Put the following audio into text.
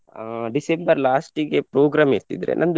ಅಹ್ December last ಗೆ program ಇರ್ತಿದ್ರೆ.